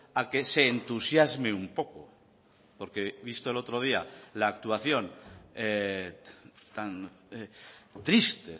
a que se entusiasme un poco porque visto el otro día la actuación tan triste